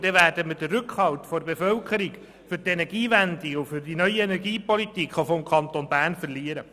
So werden wir den Rückhalt der Bevölkerung für die Energiewende und auch für die neue Energiepolitik des Kantons Bern verlieren.